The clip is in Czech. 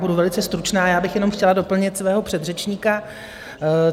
Budu velice stručná, já bych jenom chtěla doplnit svého předřečníka.